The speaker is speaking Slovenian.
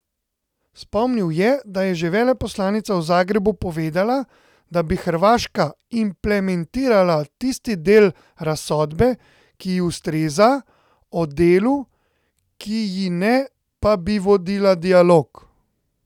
Spomnil je, da je že veleposlanica v Zagrebu povedala, da bi Hrvaška implementirala tisti del razsodbe, ki ji ustreza, o delu, ki ji ne, pa bi vodila dialog.